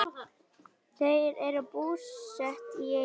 Þau eru búsett í Eyjum.